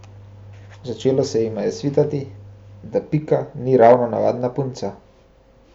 Začelo se jima je svitati, da Pika ni ravno navadna punca.